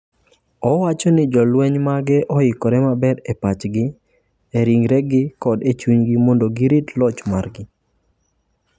Owacho ni jolweny mage oikore maber e pachgi, e ringregi koda e chunygi mondo girit loch margi.